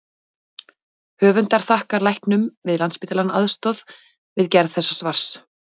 Höfundar þakkar læknum við Landspítalann aðstoð við gerð þessa svars.